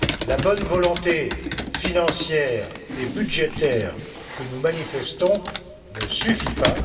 La bonne volonté financière et budgétaire que nous manifestons ne suffit pas.